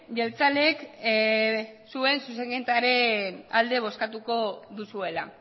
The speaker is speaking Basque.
jeltzaleek zuen zuzenketaren alde bozkatuko duzuela